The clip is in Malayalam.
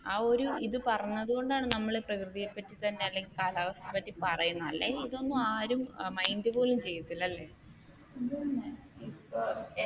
ആഹ് ഒരു ഇത് പറഞ്ഞതുകൊണ്ടാണ് നമ്മൾ പ്രകൃതിയെ പറ്റി തന്നെ അല്ലെങ്കിൽ കാലാവസ്ഥയെ പറ്റി പറയുന്നത് അല്ലെങ്കിൽ ഇതൊന്നും ആരും mind പോലും ചെയ്യത്തില്ല അല്ലെ